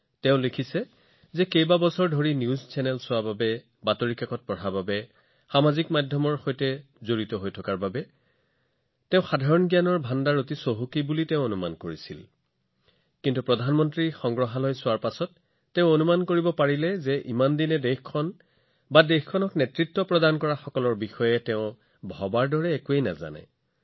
তেওঁ লিখিছে যে তেওঁ বছৰ ধৰি বাতৰি চেনেল চায় বাতৰি কাকত পঢ়ে ছচিয়েল মিডিয়াৰ সৈতেও সংযুক্ত সেয়েহে তেওঁ ভাবিছিল যে তেওঁৰ সাধাৰণ জ্ঞান যথেষ্ট ভাল হব কিন্তু যেতিয়া তেওঁ প্ৰধানমন্ত্ৰী সংগ্ৰহালয়লৈ গৈছিল তেওঁ অতি আচৰিত হৈছিল তেওঁ অনুভৱ কৰিছিল যে তেওঁ নিজৰ দেশ আৰু দেশৰ নেতৃত্ব দিয়াসকলৰ বিষয়ে বহু কথা নাজানে